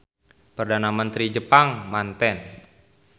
Perdana Mentri Jepang manten.